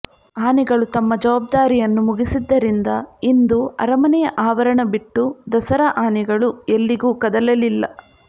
ಆನೆಗಳು ತಮ್ಮ ಜವಾಬ್ದಾರಿಯನ್ನು ಮುಗಿಸಿದ್ದರಿಂದ ಇಂದು ಅರಮನೆಯ ಆವರಣ ಬಿಟ್ಟು ದಸರಾ ಆನೆಗಳು ಎಲ್ಲಿಗೂ ಕದಲಲಿಲ್ಲ